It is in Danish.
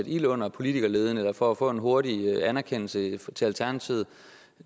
ild under politikerleden eller for at få en hurtig anerkendelse af alternativet